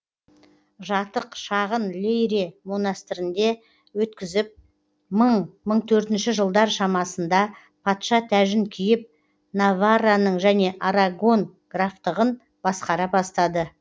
жатық шағын лейре монастырінде өткізіп мың мың төртінші жылдар шамасында патша тәжін киіп наварраның және арагон графтығын басқара бастады